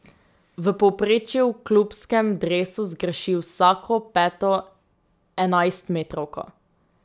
V povprečju v klubskem dresu zgreši vsako peto enajstmetrovko.